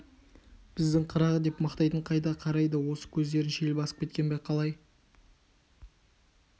біздің қырағы деп мақтайтын қайда қарайды осы көздерін шел басып кеткен бе қалай